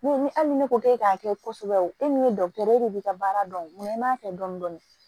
Ne ni hali ni ne ko k'e k'a kɛ kɔsɛbɛ e de b'i ka baara dɔn i m'a kɛ dɔɔnin dɔɔnin